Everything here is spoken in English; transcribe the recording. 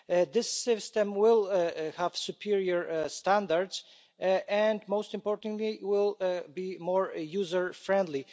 This system will have superior standards and, most importantly, will be more user friendly.